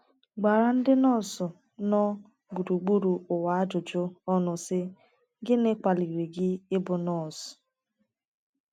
gbara ndị nọọsụ nọ gburugburu ụwa ajụjụ ọnụ, sị: “ Gịnị kwaliri gị ịbụ nọọsụ? ”